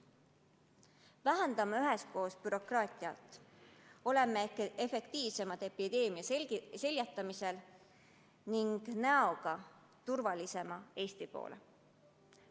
Vähendame üheskoos bürokraatiat, oleme epideemia seljatamisel efektiivsemad ning seisame näoga turvalisema Eesti poole.